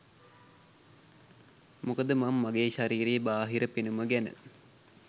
මොකද මං මගේ ශරීරයේ බාහිර පෙනුම ගැන